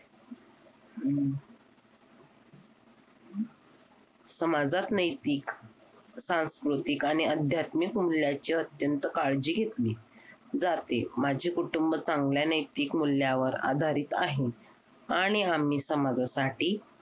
समाजात नैतिक सांस्कृतिक आणि अध्यात्मिक मूल्यांची अत्यंत काळजी घेतली जाते माझे कुटुंब चांगल्या नैतिक मूल्यावर आधारित आहे आणि आम्ही समाजासाठी